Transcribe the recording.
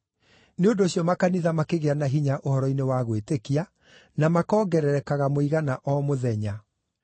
Nĩ ũndũ ũcio makanitha makĩgĩa na hinya ũhoro-inĩ wa gwĩtĩkia na makongererekaga mũigana o mũthenya.